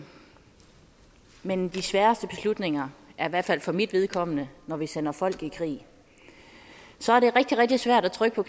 men de sværeste beslutninger er i hvert fald for mit vedkommende når vi sender folk i krig så er det rigtig rigtig svært at trykke på